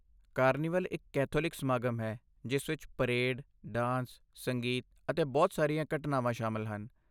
Carnival ਇੱਕ Catholic ਸਮਾਗਮ ਹੈ ਜਿਸ ਵਿੱਚ ਪਰੇਡ, ਡਾਂਸ, ਸੰਗੀਤ ਅਤੇ ਬਹੁਤ ਸਾਰੀਆਂ ਘਟਨਾਵਾਂ ਸ਼ਾਮਲ ਹਨ।